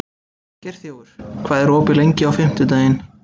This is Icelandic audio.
Geirþjófur, hvað er opið lengi á fimmtudaginn?